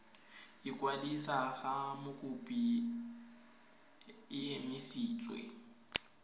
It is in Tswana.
ikwadisa ga mokopi e emisitswe